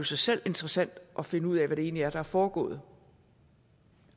sig selv interessant at finde ud af hvad det egentlig er der er foregået